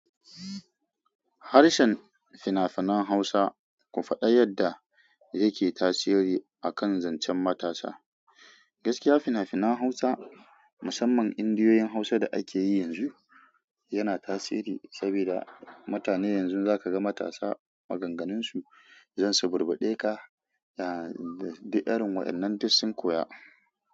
Harshen fina-finan Hausa ku faɗa yadda yake tasiri akan zancen matasa. Gaskiya fina-finan Hausa, musamman indiyoyin Hausa da ake yi yanzu, yana tasiri saboda mutane yanzu za ka ga matasa maganganunsu zan suburɓuɗe ka, duk irin waƴannan duk sun koya.